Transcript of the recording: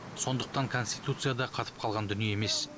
сондықтан конституция да қатып қалған дүние емес